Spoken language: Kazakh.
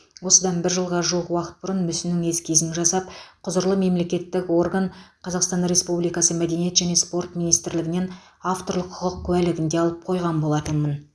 осыдан бір жылға жуық уақыт бұрын мүсіннің эскизін жасап құзырлы мемлекеттік орган қазақстан республикасы мәдениет және спорт министрлігінен авторлық құқық куәлігін де алып қойған болатынмын